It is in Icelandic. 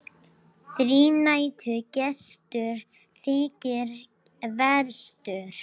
Þrínættur gestur þykir verstur.